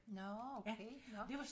Nårh okay nå